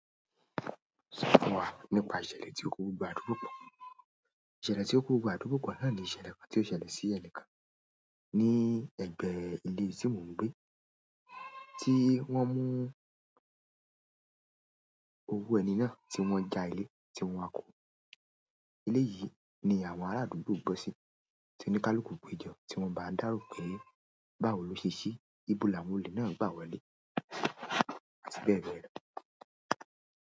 Sọ fún wa nípa ìṣẹ̀lẹ̀ tí ó kó gbogbo àdúgbò pọ̀. Ìṣẹ̀lẹ̀ tí ó kó gbogbo àdúgbò pọ̀ náà ni ìṣẹ̀lẹ̀ kan tí ó ṣẹlẹ̀ sí ẹni kan ní ẹ̀gbẹ́ ilé ibi tí mò ń gbé, tí wọ́n mú owu ẹni náà ti wọn ja ile ti wọn a kun. Eléyìí ni àwọn ara àdúgbò n gbọ si ti o ni kaluku gbeja ti wọn ba n daro pẹ báwo ló ṣe ṣeé, ibo làwọn olè náà gbà wọlé àti bẹ́ẹ̀ bẹ́ẹ̀ lọ.